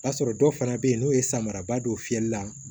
O b'a sɔrɔ dɔw fana bɛ yen n'o ye samaraba don fiyɛli la